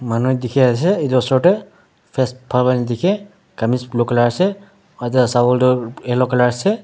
manu dekhe ase etu osor dae face phal pra nedheke khamis blue colour ase aro taila salwar tuh yellow colour ase.